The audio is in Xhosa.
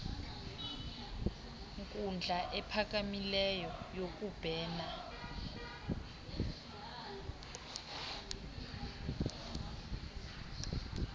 nkundla iphakamileyo yokubhena